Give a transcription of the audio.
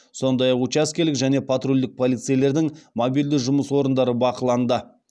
сондай ақ учаскелік және патрульдік полицейлердің мобильді жұмыс орындары бақыланды